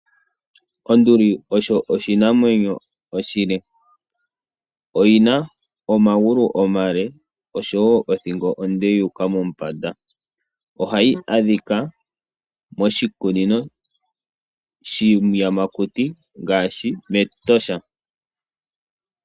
Onduli osho oshinamwenyo oshile. Oyi na omagulu omale oshowo othingo onde yu uka mombanda. Ohayi adhika moshikunino shiiyamakuti ngaashi mEtosha.